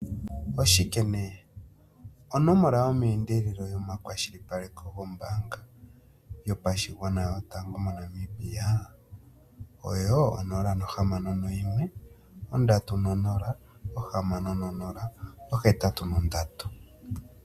OShike nduno? Onomola yomeendelelo yomakwashilipaleko gombaanga yotango yopashigwana moNamibia oyo 061 306083.